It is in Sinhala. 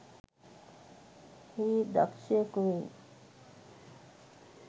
හේ දක්‍ෂයකු වෙයි.